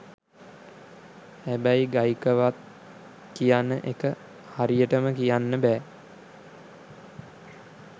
හැබැයි ගයිකවක්ද කියන එක හරියටම කියන්න බැ.